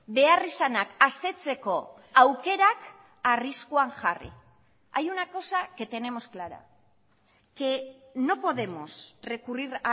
beharrizanak asetzeko aukerak arriskuan jarri hay una cosa que tenemos clara que no podemos recurrir